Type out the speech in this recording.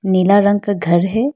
नीला रंग का घर है।